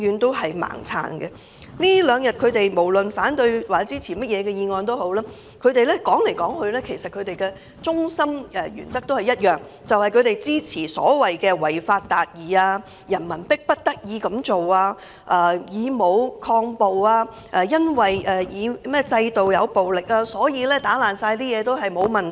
在這兩天，無論他們表示支持或反對，翻來覆去，要表達的原則都是他們支持所謂的違法達義，認為人民迫不得已才會以武抗暴，全因為制度有暴力，所以毀壞任何東西也沒有問題。